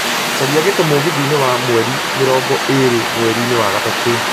caria gĩtĩ mũgithiinĩ wa mweri mĩrongo ĩĩrĩ mweri-ĩni wa gatatũ